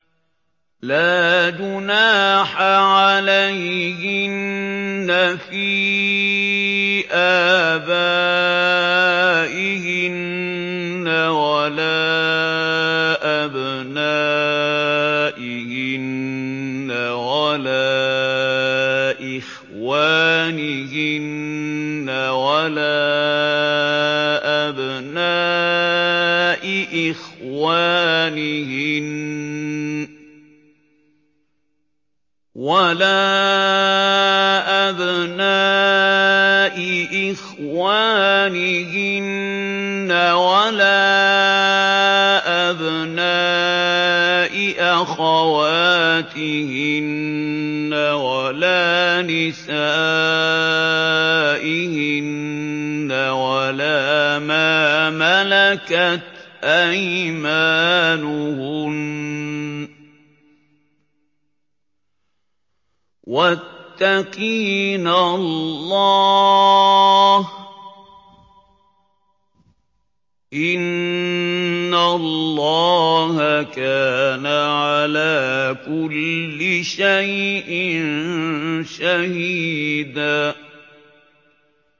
لَّا جُنَاحَ عَلَيْهِنَّ فِي آبَائِهِنَّ وَلَا أَبْنَائِهِنَّ وَلَا إِخْوَانِهِنَّ وَلَا أَبْنَاءِ إِخْوَانِهِنَّ وَلَا أَبْنَاءِ أَخَوَاتِهِنَّ وَلَا نِسَائِهِنَّ وَلَا مَا مَلَكَتْ أَيْمَانُهُنَّ ۗ وَاتَّقِينَ اللَّهَ ۚ إِنَّ اللَّهَ كَانَ عَلَىٰ كُلِّ شَيْءٍ شَهِيدًا